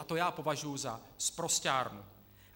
A to já považuji za sprosťárnu.